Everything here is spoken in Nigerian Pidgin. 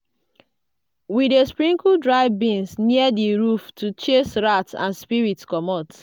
we dey sprinkle dry beans near di roof to chase rats and spirits comot.